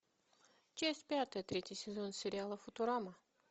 часть пятая третий сезон сериала футурама